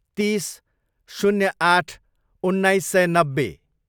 तिस, शून्य आठ, उन्नाइस सय नब्बे